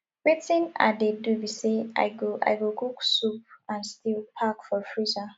wetin i dey do be say i go i go cook soup and stew pack for freezer